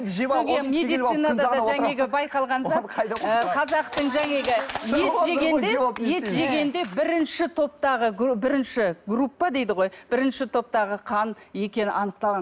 ет жегенде бірінші топтағы бірінші группа дейді ғой бірінші топтағы қан екені анықталған